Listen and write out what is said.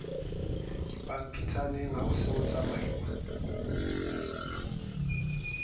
dipampitshaneng ho se ho tsamauwa